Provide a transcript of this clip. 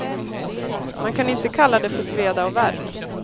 Man kan inte kalla det för sveda och värk.